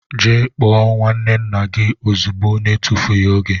Gee kpoo nwanne nna gi ozigbo na etufughi oge!!!